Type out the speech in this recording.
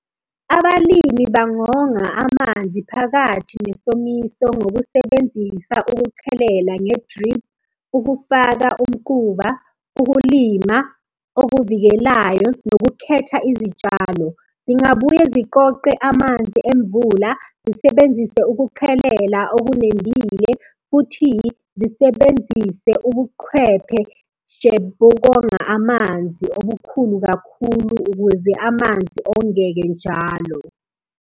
uphawu lwenkampani kamasipala luphawula ukungena - ukuphuma kwesiteshi. Imvamisa, izimpawu zikhombisa igama lesiteshi futhi zichaza izakhiwo zesiteshi nohlelo olusisebenzelayo. Imvamisa kuba neminyango eminingana yesiteshi esisodwa, okusindisa abahamba ngezinyawo ekudingweni ukuwela umgwaqo nokunciphisa ukuminyana.